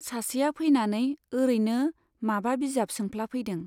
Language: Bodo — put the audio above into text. सासेआ फैनानै ओरैनो माबा बिजाब सोंफ्लाफैदों।